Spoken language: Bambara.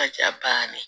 Ka ca baara ye